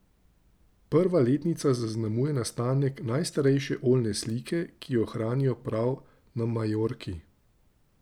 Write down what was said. Prva letnica zaznamuje nastanek najstarejše oljne slike, ki jo hranijo prav na Majorki.